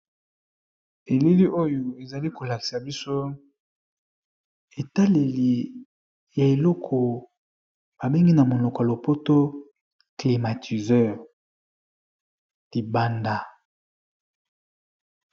Elili oyo ezali kolakisa biso etaleli ya eloko babengi na monoko ya lopoto climatiseur libanda.